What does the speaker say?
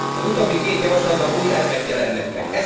Az utóbbi két javaslatban új elemek jelennek meg.